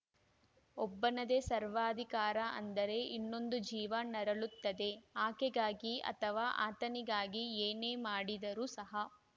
ಒಬ್ಬನದೇ ಸರ್ವಾಧಿಕಾರ ಅಂದರೆ ಇನ್ನೊಂದು ಜೀವ ನರಳುತ್ತದೆ ಆಕೆಗಾಗಿ ಅಥವಾ ಆತನಿಗಾಗಿ ಏನೇ ಮಾಡಿದರೂ ಸಹ